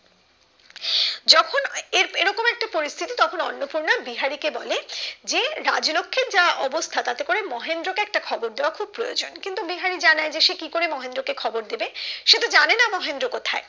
যখন এরকম একটা পরিস্থিতি তখন অন্নপূর্ণা বিহারি কে বলে যে রাজলক্ষীর যা অবস্থা তাতে করে মহেন্দ্র কে একটা খবর দেওয়া খুব প্রয়োজন কিন্তু বিহারি জানে যে সে কি করে মহেন্দ্র কে খবর দেবে সে তো জানে না মহেন্দ্র কোথায়